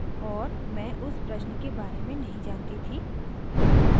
और मैं उस प्रश्न के बारे में नहीं जानती थी